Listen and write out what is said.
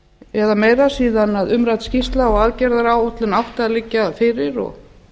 eða meira síðan umrædd skýrsla og aðgerðaráætlun átti að liggja fyrir og